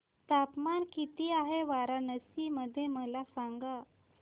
तापमान किती आहे वाराणसी मध्ये मला सांगा